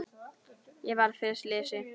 Ég varð fyrir slysi